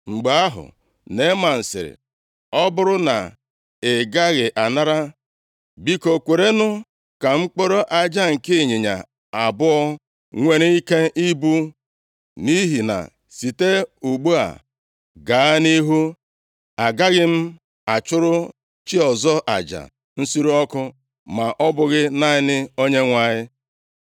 Mgbe ahụ Neeman sịrị, “Ọ bụrụ na ị gaghị anara, biko, kwerenụ ka m kporo aja nke ịnyịnya abụọ nwere ike ibu. Nʼihi na site ugbu a gaa nʼihu, agaghị m achụrụ chi ọzọ aja nsure ọkụ, ma ọ bụghị naanị Onyenwe anyị.